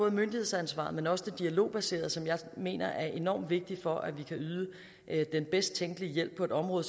myndighedsansvaret men også det dialogbaserede som jeg mener er enormt vigtigt for at vi kan yde den bedst tænkelige hjælp på et område